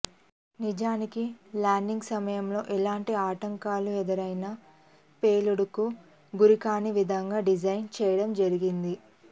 నిజానికి ల్యాండింగ్ సమయంలో ఎలాంటి ఆటంకాలు ఎదురైనా ప్రేళుడుకు గురికాని విధంగా డిజైన్ చేయడం జరిగింది